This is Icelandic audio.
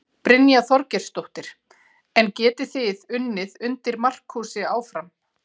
Brynja Þorgeirsdóttir: En getið þið unnið undir Markúsi áfram?